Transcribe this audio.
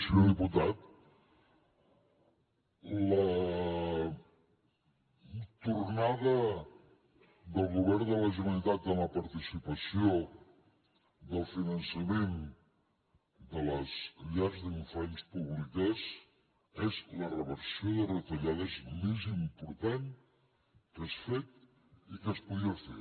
senyor diputat la tornada del govern de la generalitat en la participació del finançament de les llars d’infants públiques és la reversió de retallades més important que s’ha fet i que es podia fer